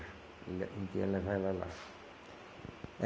A gente ia levar ela lá.